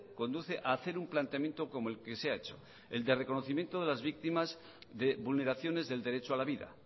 conduce a hacer un planteamiento como el que se ha hecho el de reconocimiento de las víctimas de vulneraciones del derecho a la vida